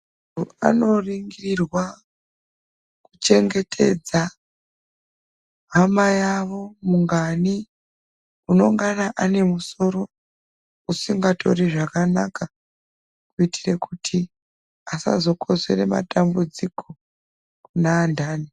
Ntu Anoringirwa kuchengetedza hama yawo mungani unengaNa ane musoro usikatori zvakanaka kuitira kuti asazokonzere matambudziko kune antani.